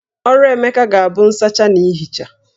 Ọrụ Emeka ga-abụ nsacha na ihicha